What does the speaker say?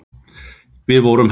En við vorum heppin.